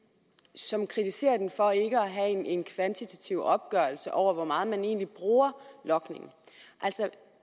som kritiserer den for ikke at have en kvantitativ opgørelse over hvor meget man egentlig bruger logning altså